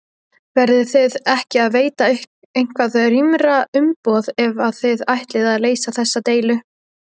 Verðiði ekki að veita eitthvað rýmra umboð ef að þið ætlið að leysa þessa deilu?